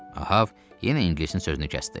Ahəv yenə ingilisin sözünü kəsdi.